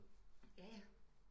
Jaja